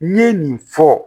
N ye nin fɔ